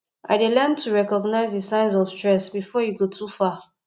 i dey learn to recognize di signs of stress before e go too far